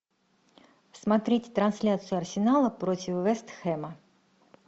смотреть трансляцию арсенала против вест хэма